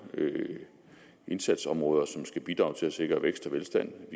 indsatsområder som skal bidrage til at sikre vækst og velstand